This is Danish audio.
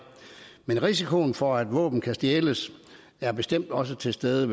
men risikoen for at våben kan stjæles er bestemt også til stede